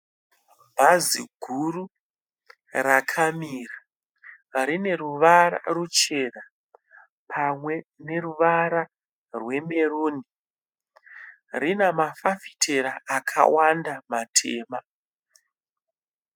Bhazi guru rakamira. Rine ruvara ruchena pamwe neruvara rwemeruni. Rina mafafitera akawanda matema.